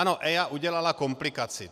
Ano, EIA udělala komplikaci.